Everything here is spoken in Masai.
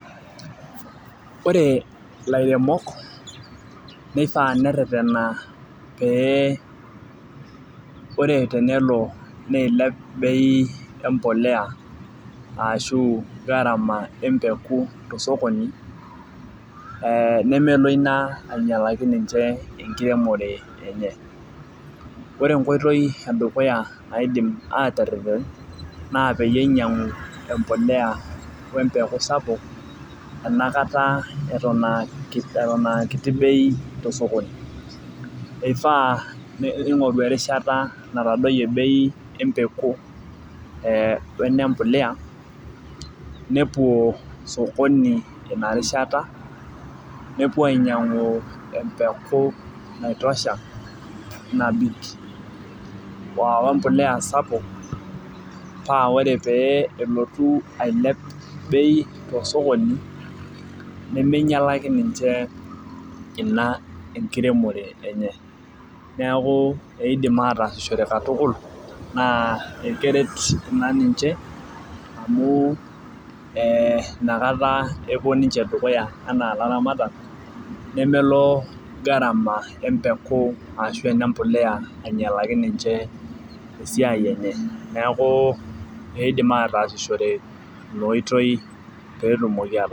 Ore ilairemok neifaa nereretena ore teneilep bei embolea ashuu garama empeku tosokoni nemelo ina ainyialaki ninche enkiremore enye ore enkoitoi edukuya naadim aaterereteb naa peinyingu embolea kiti wesapuk enakata eton aa kiti bei tosokoni meifaa neingoru erishata natadoyie bei empeku tosokini ina rishara nepuo ainyiangu empeku nabik wrmbolea sapuk paa tenelotu bei ailep tosokoni nemeinyuakaki ninche ina enkiremore enye neeku eidim ataasishore katukul amu keret ina ninche ee inakata epuo ninche dukuya enaa ilaramatak nemelo garama empuku ashuu enembolea neeku eidim aaatasishore ina oitoi peetumoki aato